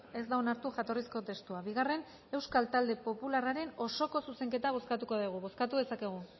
ez da onartu jatorrizko testua bigarren euskal talde popularraren osoko zuzenketa bozkatuko degu bozkatu dezakegu